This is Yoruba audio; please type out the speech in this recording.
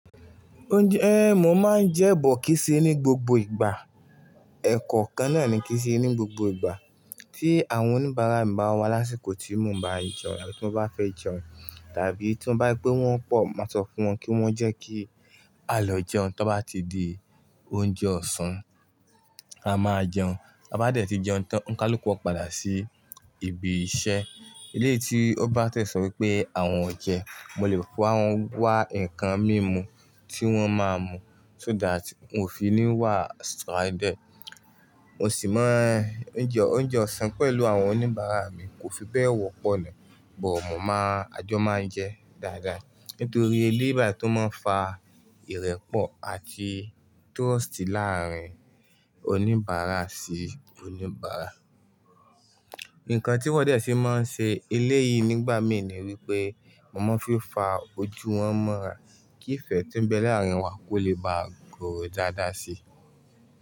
Oúnjẹ, mo máa ń jẹ bọ̀kíṣẹ ní gbogbo ìgbà. Ẹ̀kọ́ kan náà ni kí n se ní gbogbo ìgbà tí àwọn oníbàárà mi bá wá lásìkò tí mo bá jẹun, tí wọ́n bá fẹ́ jẹun tàbí tí wọ́n bá gbé wọ́n pọ̀, mo máa sọ fún wọn kí wọ́n jẹ́ kí a lọ jẹun tó bá ti di oúnjẹ ọ̀sán, a máa jẹun. A bá dẹ̀ ti jẹun tán, oni kaluku ó padà sí ibi iṣẹ́. Eléti obá tẹ̀ sọ wípé àwọn ọ̀jẹ̀, mo lè bá wọn wá ǹkan mímu tí wọ́n máa ń mu so that wọn o fi ní wà stranded. Mo sì máa ń jẹ oúnjẹ ọ̀sán pẹ̀lú àwọn oníbàárà mi, kò fi bẹ́ẹ̀ wọ́pọ̀ náà, bọ̀ mo máa ń, àjọ máa ń jẹ dáadáa nítorí eléyìbà tó máa ń fa ìrẹ́pọ̀ àti trust láàárín oníbàárà sí oníbàárà. Ǹkan tí wọn dẹ̀ ti máa ń ṣe eléyìí nígbà mìí ni wípé mo máa ń fi fà ojú wọn mọ́ra kí ìfẹ́ tí ń bẹ láàárín wa kó lè bá ga dáadáa sí i.